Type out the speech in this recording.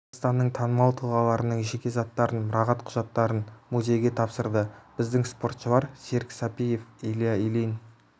қазақстанның танымал тұлғаларының жеке заттарын мұрағат құжаттарын музейге тапсырды біздің спортшылар серік сәпиев илья ильин